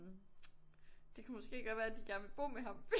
Det kunne måske godt være at de gerne vil bo med ham